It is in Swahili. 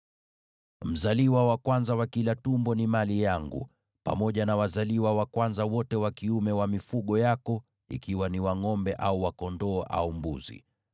“Mzaliwa wa kwanza wa kila tumbo ni mali yangu, pamoja na wazaliwa wa kwanza wote wa kiume wa mifugo yako, ikiwa ni wa ngʼombe au wa kondoo au mbuzi.